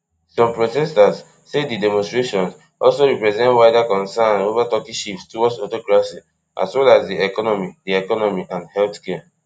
some protesters say di demonstrations also represent wider concerns over turkey shift toward autocracy as well as di economy di economy and healthcare